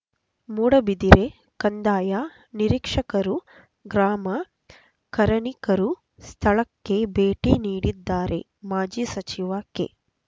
ಮೂಡುಬಿದಿರೆ ಕಂದಾಯ ನಿರೀಕ್ಷಕರು ಗ್ರಾಮ ಕರಣಿಕರೂ ಸ್ಥಳಕ್ಕೆ ಭೇಟಿ ನೀಡಿದ್ದಾರೆ ಮಾಜಿ ಸಚಿವ ಕೆ